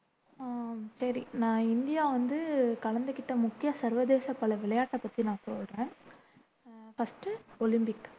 அஹ் சரி நான் இந்தியா வந்து கலந்துக்கிட்ட முக்கிய சர்வதேச பல விளையாட்ட பத்தி நான் சொல்றேன் ஃபர்ஸ்ட் ஒலிம்பிக்